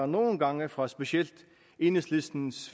nogle gange fra specielt enhedslistens